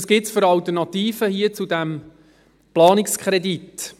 Was gibt es jetzt für Alternativen hier zu diesem Planungskredit?